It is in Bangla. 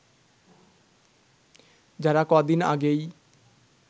যারা কদিন আগেই